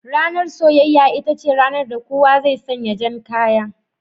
Ranar soyayya, ita ce ranar da kowa zai sanya jan kaya